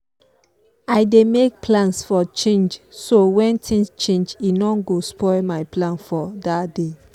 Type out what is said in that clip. i dey make plans for change so when things change e no go spoil my plan for that day.